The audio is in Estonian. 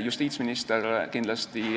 Justiitsminister